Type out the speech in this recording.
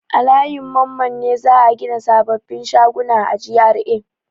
A layin Mamman ne za a gina sababbin shaguna a GRA.